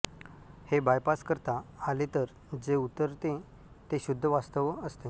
हे बायपास करता आले तर जे उरते ते शुद्ध वास्तव असते